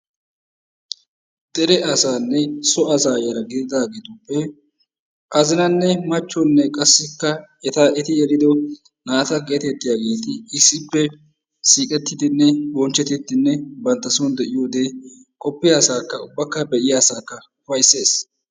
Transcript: Dere asanne so asa yara gididaageetuppe azinanne machchonne qassikka eti yelido naata getettiyaageeti issippe siiqetidinne bonchcheti bantta soon de'iyoode qopiya asakka ubbakka be'iyaa asakka ugayssees.